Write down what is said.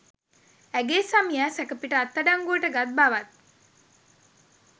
ඇගේ සැමියා සැකපිට අත්අඩංගුවට ගත් බවත්